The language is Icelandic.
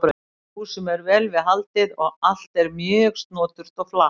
Húsum er vel við haldið og allt er mjög snoturt og flatt.